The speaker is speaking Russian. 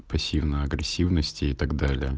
пассивная агрессивность и так далее